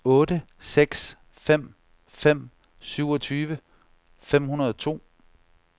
otte seks fem fem syvogtyve fem hundrede og to